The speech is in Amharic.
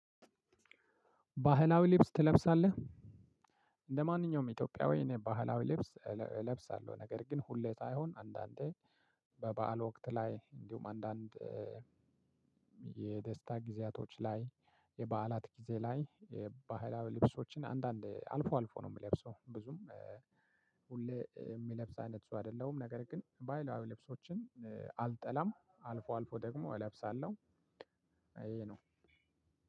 ባህላዊ ልብስ ትለብሳለህ? እንደ ማንኛውም ኢትዮጵያዊ እኔ ባህላዊ ልብስ እለብሳለሁ ነገር ግን ሁሌ ሳይሆን አንዳንዴ በበዓል ወቅት ላይ እንዲሁም አንዳንድ የደስታ ጊዜያቶች ላይ የበዓላት ጊዜ ላይ የባህላዊ ልብሶችን አንዳንዴ አልፎ አልፎ ነው የምለብሰው። ብዙም ሁሌ የሚለብሰው አይነት ሰው አይደለሁም ነገር ግን ባህላዊ ልብሶችን አልጠላም አልፎ አልፎ ደግሞ እለብሳለሁ። ይሄ ነው።